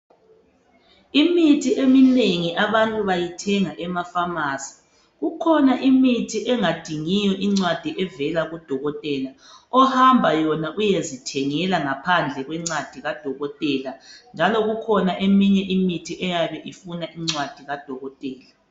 Imithi eminengi abantu bayithenga emafamasi. Kukhona imithi engadingiyo incwadi evela kudokothela, ohamba yona uyezithengela ngaphandle kwencwadi kadokothela .Njalo kukhona eminye imithi eyabe ifuna incwadi kadokothela.